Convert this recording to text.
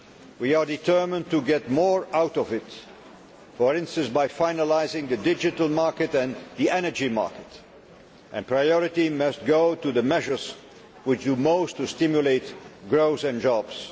We are determined to get more out of it, for instance by finalising the digital market and the energy market. Priority must go to the measures which do most to stimulate growth and jobs.